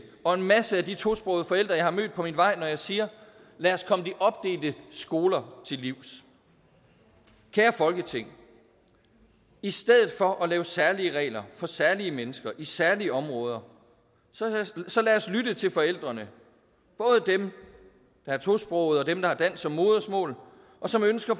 og en masse af de tosprogede forældre jeg har mødt på min vej når jeg siger lad os komme de opdelte skoler til livs kære folketing i stedet for at lave særlige regler for særlige mennesker i særlige områder så lad os lytte til forældrene både dem der er tosprogede og dem der har dansk som modersmål og som ønsker